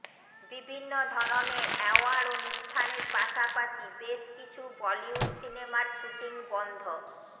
বিভিন্ন ধরনের অ্যাওয়ার্ড অনুষ্ঠানের পাশাপাশি বেশ কিছু বলিউড সিনেমার শুটিং বন্ধ